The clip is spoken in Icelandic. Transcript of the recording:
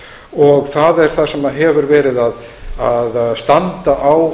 og það er það sem hefur verið að standa á